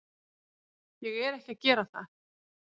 Ég er ekki að gera það.